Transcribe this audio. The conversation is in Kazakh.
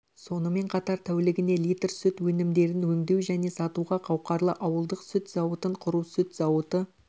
сонымен қатар тәулігіне литр сүт өнімдерін өңдеу және сатуға қауқарлы ауылдық сүт зауытын құру сүт зауыты